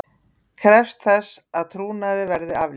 Krefst þess að trúnaði verði aflétt